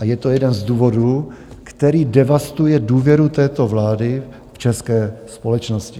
A je to jeden z důvodů, který devastuje důvěru této vlády v české společnosti.